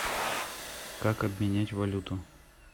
как обменять валюту